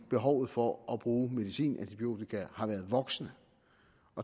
behovet for at bruge medicin i antibiotika har været voksende